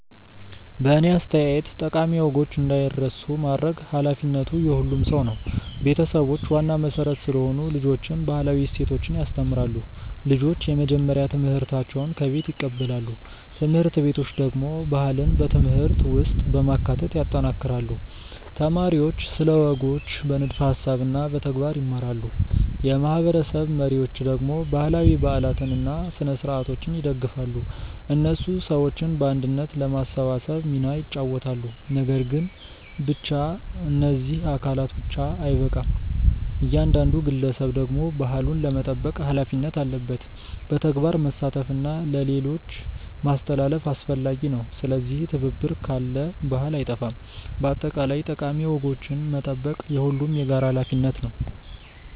በእኔ አስተያየት ጠቃሚ ወጎች እንዳይረሱ ማድረግ ኃላፊነቱ የሁሉም ሰው ነው። ቤተሰቦች ዋና መሠረት ስለሆኑ ልጆችን ባህላዊ እሴቶች ያስተምራሉ። ልጆች የመጀመሪያ ትምህርታቸውን ከቤት ይቀበላሉ። ት/ቤቶች ደግሞ ባህልን በትምህርት ውስጥ በማካተት ያጠናክራሉ። ተማሪዎች ስለ ወጎች በንድፈ ሀሳብ እና በተግባር ይማራሉ። የማህበረሰብ መሪዎች ደግሞ ባህላዊ በዓላትን እና ስነ-ሥርዓቶችን ይደግፋሉ። እነሱ ሰዎችን በአንድነት ለማሰባሰብ ሚና ይጫወታሉ። ነገር ግን ብቻ እነዚህ አካላት ብቻ አይበቃም። እያንዳንዱ ግለሰብ ደግሞ ባህሉን ለመጠበቅ ሀላፊነት አለበት። በተግባር መሳተፍ እና ለሌሎች ማስተላለፍ አስፈላጊ ነው። ስለዚህ ትብብር ካለ ባህል አይጠፋም። በአጠቃላይ ጠቃሚ ወጎችን መጠበቅ የሁሉም የጋራ ሀላፊነት ነው።